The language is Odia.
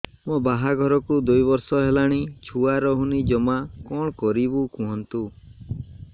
ମୋ ବାହାଘରକୁ ଦୁଇ ବର୍ଷ ହେଲାଣି ଛୁଆ ରହୁନି ଜମା କଣ କରିବୁ କୁହନ୍ତୁ